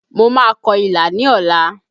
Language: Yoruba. Mo máa kọ ilà ní ọ̀la